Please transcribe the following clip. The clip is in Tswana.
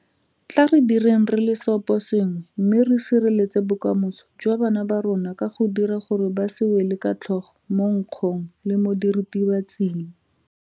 Tla re direng re le seoposengwe mme re sireletse bokamoso jwa bana ba rona ka go dira gore ba se wele ka tlhogo mo nkgong le mo diritibatsing.